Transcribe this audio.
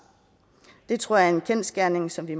det tror jeg er en kendsgerning som vi